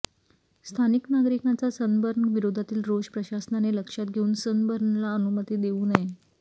स्थानिक नागरिकांचा सनबर्न विरोधातील रोष प्रशासनाने लक्षात घेऊन सनबर्नला अनुमती देऊ नये